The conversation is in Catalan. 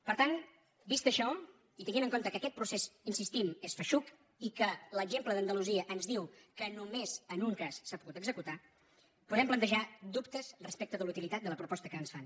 per tant vist això i tenint en compte que aquest procés hi insistim és feixuc i que l’exemple d’andalusia ens diu que només en un cas s’ha pogut executar podem plantejar dubtes respecte de la utilitat de la proposta que ens fan